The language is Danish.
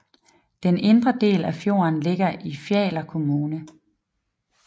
Den indre del af fjorden ligger i Fjaler kommune